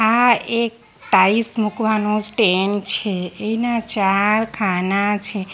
આ એક ટાઇલ્સ મુકવાનો સ્ટેન્ડ છે એના ચાર ખાના છે.